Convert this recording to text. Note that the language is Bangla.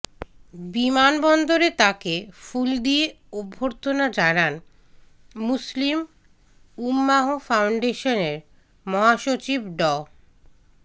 বিমানবন্দরে তাকে ফুল দিয়ে অভ্যর্থনা জানান মুসলিম উম্মাহ ফাউন্ডেশনের মহাসচিব ড